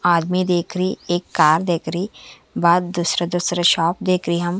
आदमी देख रही एक कार देख रही बहार शप देख रहे हम--